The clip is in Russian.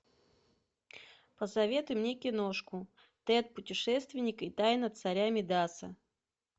посоветуй мне киношку тэд путешественник и тайна царя мидаса